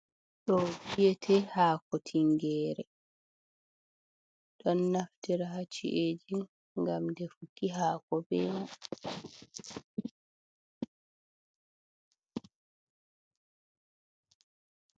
Di viete hako tingere, ɗon naftira ha ci’eji ngam defuki hako Bena.